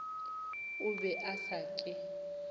o be a sa ke